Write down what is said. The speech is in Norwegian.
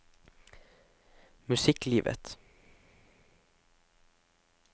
musikklivet